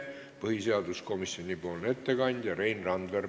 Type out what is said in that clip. Põhiseaduskomisjoni ettekandja on Rein Randver.